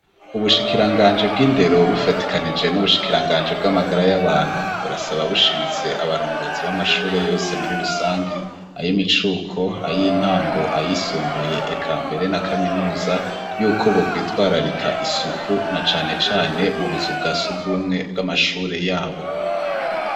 Ubushikiranganji bw'indero bufadikanije n'ubushikiranganji bw'amagara y'abantu, burasaba bushimitse abarongozi b'amashure yose muri rusangi, ay' imicuko, ay'intango, ayisumbuye, eka mbere na kaminuza, y'uko bokwitwararika isuku na cane cane mu buzu bwa surwumwe bw'amashure yabo.